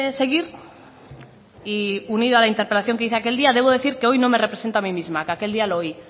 seguir y unida a la interpelación que hice aquel día debo decir que hoy no me represento a mí misma que aquel día lo oí